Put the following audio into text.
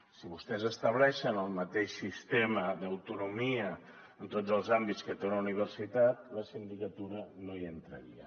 si vostès estableixen el mateix sistema d’autonomia en tots els àmbits que té una universitat la sindicatura no hi entraria